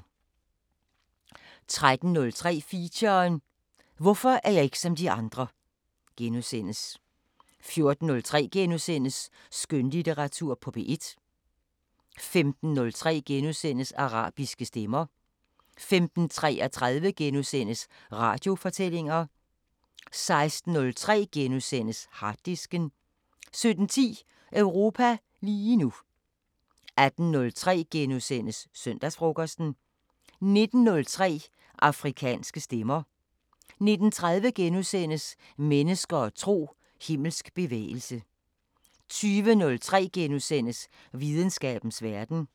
13:03: Feature: Hvorfor er jeg ikke som de andre * 14:03: Skønlitteratur på P1 * 15:03: Arabiske Stemmer * 15:33: Radiofortællinger * 16:03: Harddisken * 17:10: Europa lige nu 18:03: Søndagsfrokosten * 19:03: Afrikanske Stemmer 19:30: Mennesker og tro: Himmelsk bevægelse * 20:03: Videnskabens Verden *